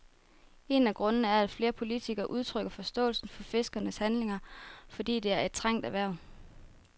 En af grundene er, at flere politikere udtrykker forståelse for fiskernes handlinger, fordi det er et trængt erhverv.